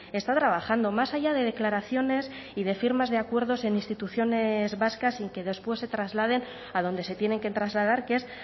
está trabajando más allá de declaraciones y de firmas de acuerdos en instituciones vascas sin que después se trasladen a donde se tienen que trasladar que es